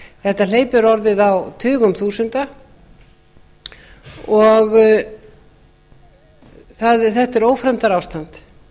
þetta hleypur orðið á tugum þúsunda og þetta er ófremdarástand